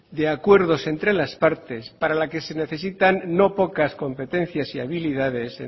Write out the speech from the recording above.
de acuerdos entre las partes para la que se necesitan no pocas competencias y habilidades